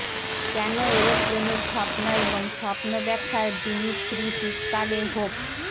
কেন এ্যারোপ্লেনের স্বপ্ন এবং স্বপ্ন ব্যাখ্যার দিমিত্রি শীতকালে হোপ